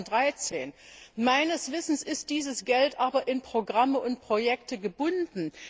2013! Meines Wissens ist dieses Geld aber in Programmen und Projekten gebunden.